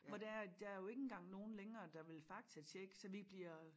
Hvor det er at der jo ikke engang nogen længere der vil faktatjekke så vi bliver